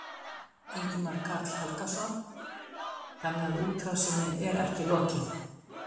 Ingimar Karl Helgason: Þannig að útrásinni er ekki lokið?